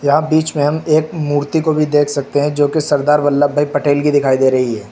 यहां बीच में हम एक मूर्ति को भी देख सकते हैं जो की सरदार वल्लभभाई पटेल की दिखाई दे रही है।